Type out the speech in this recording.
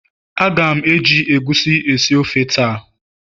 A ga m eji egusi esi ofe taa